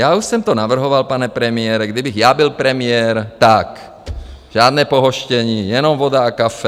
Já už jsem to navrhoval, pane premiére, kdybych já byl premiér, tak žádné pohoštění, jenom voda a kafe.